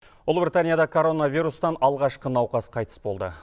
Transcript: ұлыбританияда коронавирустан алғашқы науқас қайтыс болды